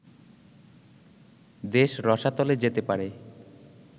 দেশ রসাতলে যেতে পারে